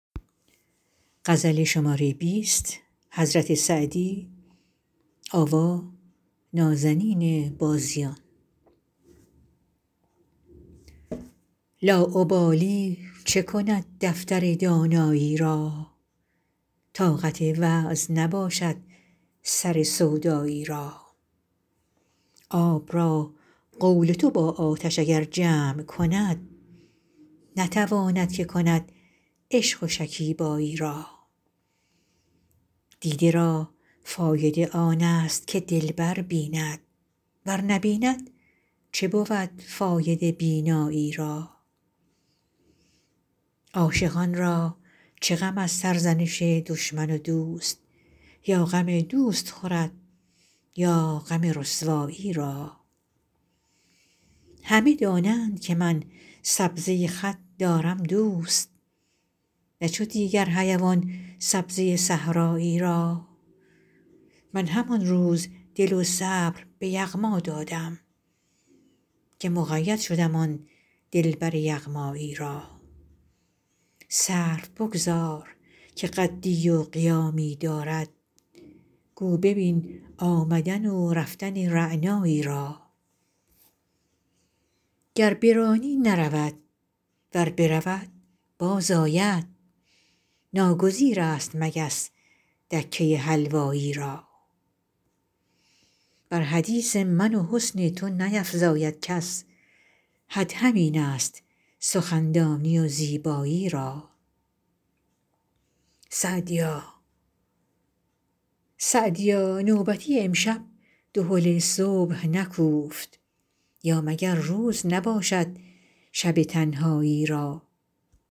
لاابالی چه کند دفتر دانایی را طاقت وعظ نباشد سر سودایی را آب را قول تو با آتش اگر جمع کند نتواند که کند عشق و شکیبایی را دیده را فایده آن است که دلبر بیند ور نبیند چه بود فایده بینایی را عاشقان را چه غم از سرزنش دشمن و دوست یا غم دوست خورد یا غم رسوایی را همه دانند که من سبزه خط دارم دوست نه چو دیگر حیوان سبزه صحرایی را من همان روز دل و صبر به یغما دادم که مقید شدم آن دلبر یغمایی را سرو بگذار که قدی و قیامی دارد گو ببین آمدن و رفتن رعنایی را گر برانی نرود ور برود باز آید ناگزیر است مگس دکه حلوایی را بر حدیث من و حسن تو نیفزاید کس حد همین است سخندانی و زیبایی را سعدیا نوبتی امشب دهل صبح نکوفت یا مگر روز نباشد شب تنهایی را